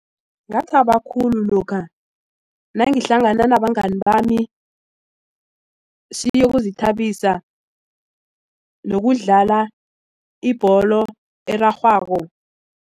Ngathaba khulu lokha nangihlangana nabangani bami siyokuzithabisa nokudlala ibholo erarhwako.